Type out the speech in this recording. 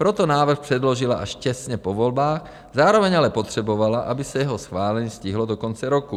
Proto návrh předložila až těsně po volbách, zároveň ale potřebovala, aby se jeho schválení stihlo do konce roku.